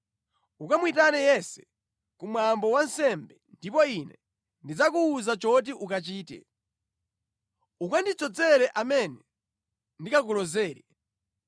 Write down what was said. Ukamuyitane Yese ku mwambo wa nsembe, ndipo ine ndidzakuwuza choti ukachite. Ukandidzozere amene ndikakulozere.’ ”